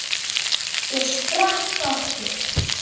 Ég sprakk aftur.